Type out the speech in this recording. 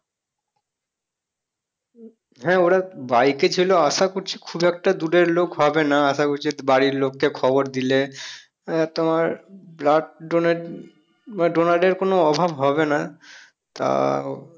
হ্যাঁ ওরা bike এ ছিল আশা করছি খুব একটা দূরের লোক হবে না আশা করছি। বাড়ির লোককে খবর দিলে আহ তোমার blood donate মানে donor এর কোনো অভাব হবে না তা